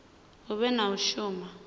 hu vhe na u shuma